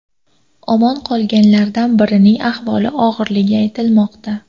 Omon qolganlardan birining ahvoli og‘irligi aytilmoqda.